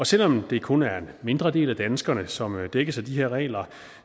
selv om det kun er en mindre del af danskerne som dækkes af de her regler